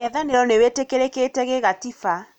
Mũng'ethanĩro nĩwĩtĩkĩrĩkĩte gigatiba